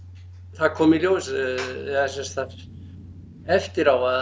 það kom í ljós eða sem sagt eftir á að